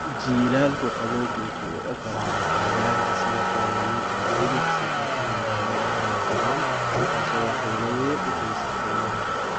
Jiilaalka qabowgu wuxuu u oggolaadaa cayayaanka sida kuwa lamid ah jilif si ay u noolaadaan oo u koraan, taasoo waxyeello weyn u geysta keymaha.